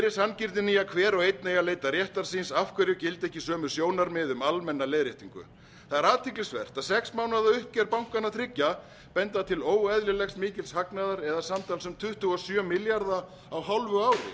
er sanngirnin í að hver og einn eigi að leita réttar síns af hverju gilda ekki sömu sjónarmið um almenna leiðréttingu það er athyglisvert að sex mánaða uppgjör bankanna þriggja benda til óeðlilega mikils hagnaðar eða samtals um tuttugu og sjö milljarða króna á hálfu ári